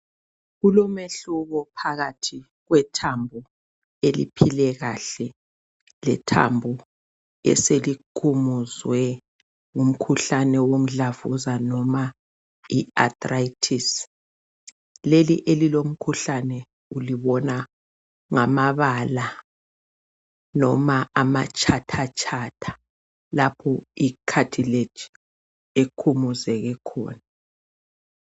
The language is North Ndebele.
Kulomehluko phakathi kwethambo eliphile kahle. Lethambo eselikhumuzwe ngumkhuhlane womdlavuza, noma i- arthritis Lelo elilomkhuhlane ulibona ngamabala, loba amatshathatshatha. Lapho icatlage ekhumuze khona.